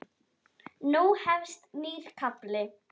Nú hefst nýr kafli.